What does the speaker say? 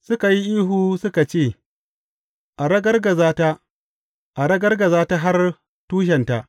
Suka yi ihu suka ce, A ragargaza ta, A ragargaza ta har tushenta!